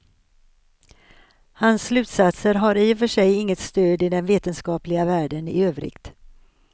Hans slutsatser har i och för sig inget stöd i den vetenskapliga världen i övrigt.